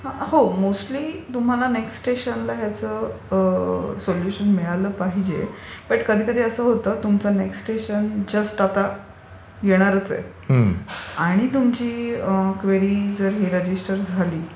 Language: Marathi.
हो मोस्टली नेक्स्ट स्टेशनला याचं सोल्युशन मिळालं पाहिजे. पण कधीकधी असं होतं तुमचं नेक्स्ट स्टेशन जस्ट येणारच आहे आणि तुमची क्वेरी जस्ट रजिस्टर झाली